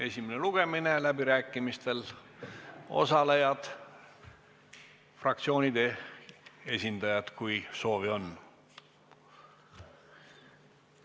Esimene lugemine, läbirääkimistel osalejad on fraktsioonide esindajad, kui soovi on.